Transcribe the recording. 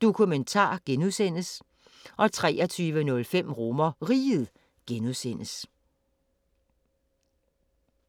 Dokumentar (G) 23:05: RomerRiget (G)